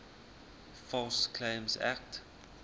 false claims act